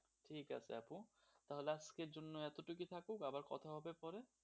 ঠিক আছে আপু তাহলে আজকের জন্য এতটুকু থাকুক, আবার কথা হবে পরে,